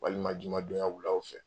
Walima jumadonya wulaw fɛ